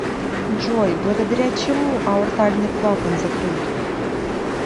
джой благодаря чему аортальный клапан закрыт